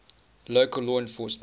local law enforcement